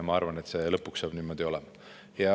Ma arvan, et lõpuks saab see niimoodi tehtud.